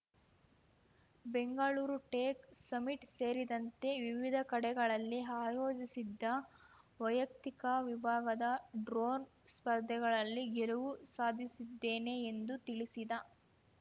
Bengaluru tech summit ಸೇರಿದಂತೆ ವಿವಿಧ ಕಡೆಗಳಲ್ಲಿ ಆಯೋಜಿಸಿದ್ದ ವೈಯಕ್ತಿಕ ವಿಭಾಗದ ಡ್ರೋನ್‌ ಸ್ಪರ್ಧೆಗಳಲ್ಲಿ ಗೆಲವು ಸಾಧಿಸಿದ್ದೇನೆ ಎಂದು ತಿಳಿಸಿದ